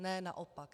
Ne, naopak.